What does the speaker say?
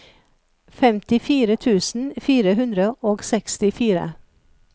femtifire tusen fire hundre og sekstifire